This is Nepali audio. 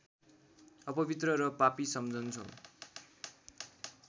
अपवित्र र पापी सम्झन्छौ